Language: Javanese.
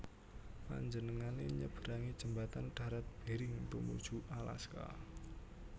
Panjenengané nyeberangi jembatan darat Bering tumuju Alaska